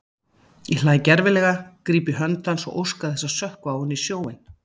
Ég hlæ gervilega, gríp í hönd hans og óska þess að sökkva ofan í sjóinn.